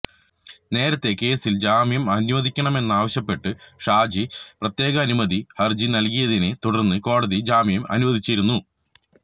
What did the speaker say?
നേരത്തെ കേസില് ജാമ്യം അനുവദിക്കണമെന്നാവശ്യപ്പെട്ട് ഷാജി പ്രത്യേകാനുമതി ഹരജി നല്കിയതിനെ തുടര്ന്ന് കോടതി ജാമ്യം അനുവദിച്ചിരുന്നു